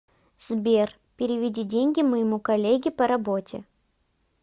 сбер переведи деньги моему коллеге по работе